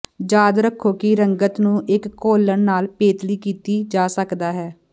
ਯਾਦ ਰੱਖੋ ਕਿ ਰੰਗਤ ਨੂੰ ਇੱਕ ਘੋਲਨ ਨਾਲ ਪੇਤਲੀ ਕੀਤਾ ਜਾ ਸਕਦਾ ਹੈ